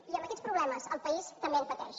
i amb aquests problemes el país també en pateix